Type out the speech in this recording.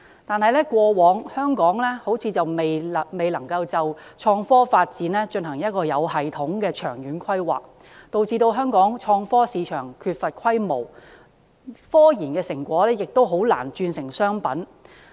但是，香港過往似乎未能就創科發展進行有系統的長遠規劃，導致香港創科市場缺乏規模，科研成果亦難以轉化為商品。